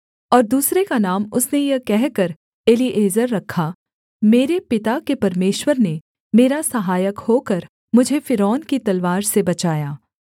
और दूसरे का नाम उसने यह कहकर एलीएजेर रखा मेरे पिता के परमेश्वर ने मेरा सहायक होकर मुझे फ़िरौन की तलवार से बचाया